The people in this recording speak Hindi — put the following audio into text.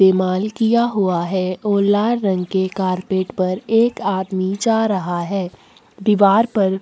इस्तेमाल किया हुआ है और लाल रंग के कार्पेट पर एक आदमी जा रहा हैं दिवार पर--